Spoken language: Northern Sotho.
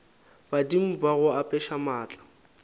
badimo ba go apeša maatla